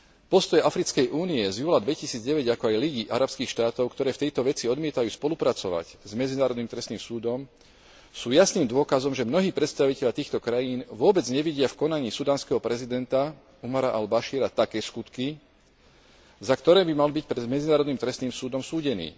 Postoje Africkej únie z júla 2009, ako aj Ligy arabských štátov, ktoré v tejto veci odmietajú spolupracovať s Medzinárodným trestným súdom, sú jasným dôkazom, že mnohí predstavitelia týchto krajín vôbec nevidia v konaní sudánskeho prezidenta Omara al Bašíra také skutky, za ktoré by mal byť pred Medzinárodným trestným súdom súdený.